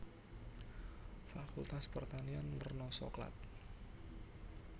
Fakultas Pertanian werna soklat